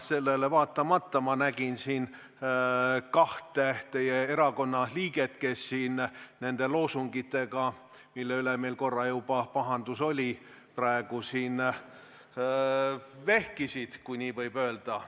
Sellele vaatamata ma nägin, et kaks teie erakonna liiget nende loosungitega, mille pärast meil korra juba pahandus oli, praegu siin vehkisid, kui nii võib öelda.